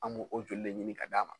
An b'o o joli de ɲini ka d'a ma.